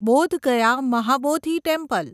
Bodh Gaya Mahabodhi temple